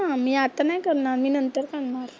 मी आत्ता नाही करणार, मी नंतर करणार.